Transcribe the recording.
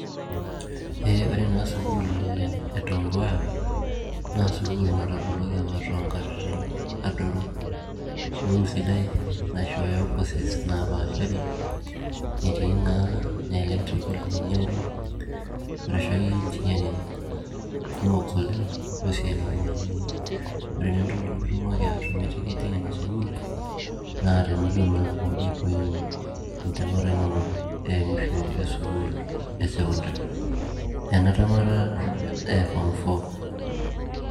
Ee ore naa sukuul e Tom Mboya naa sukuul nataboloki apa too ngatitin adoru sukuul sidai na naishooyo courses naapashari netii naa electrical engineering arashu akeyie engineering kumook oleng' naas oltung'ani ore naa entoki nitumoki atumuie pii ijing' ina sukuul naa tenilo naa aaaku eiima entemeta emusho e sukuul e sokondari ena temata e form four